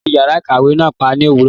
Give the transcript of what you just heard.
Wọn tí yàrá ìkàwé náà pa ní òwúrọ̀.